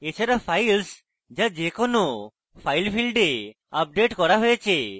এছাড়া files যা যে কোনো file ফীল্ডে আপডেট করা হয়েছে